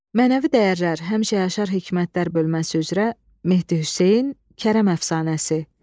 Mənəvi dəyərlər həmişə yaşar hikmətlər bölməsi üzrə Mehdi Hüseyn, Kərəm əfsanəsi.